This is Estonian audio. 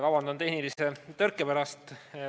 Vabandan tehnilise tõrke pärast!